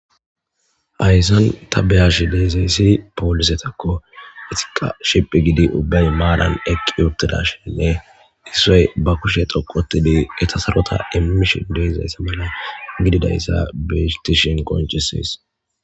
Haysan ta beyashe dizaysi polisetako istika sitti gidi maran eqi uttidashin issay ba kushe dhuqu othidi sarota immishe de'izaysa mala betishe qoncises